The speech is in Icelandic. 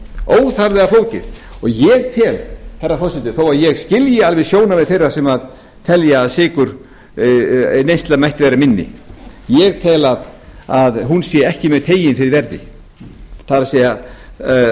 óþarflega flókið ég tel herra forseti þó að ég skilji alveg sjónarmið þeirra sem telja að sykurneysla mætti vera minni ég tel að hún sé ekki mjög ein fyrir verði það er